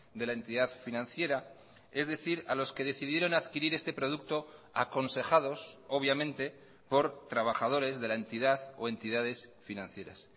de la entidad financiera es decir a los que decidieron adquirir este producto aconsejados obviamente por trabajadores de la entidad o entidades financieras